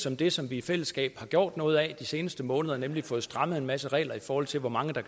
om det som vi i fællesskab har gjort noget af de seneste måneder nemlig fået strammet en masse regler i forhold til hvor mange der